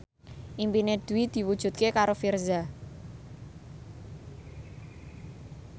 impine Dwi diwujudke karo Virzha